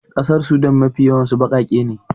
ƙasar Sudan Mafi yawansu bakake ne